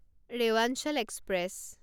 Rewanchal express